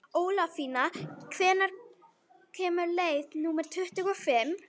Ólafína, hvenær kemur leið númer tuttugu og fimm?